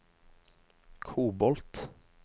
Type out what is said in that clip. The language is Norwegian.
kobolt